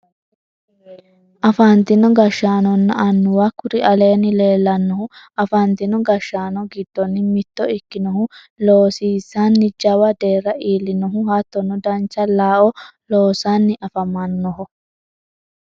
Afantino gashshaanonna annuwa kuri aleenni leellannohu afantino gashshsaano giddonni mitto ikkinohu loosisinni jawa deerra iillinohu hattono dancha looao loosanni afamannoho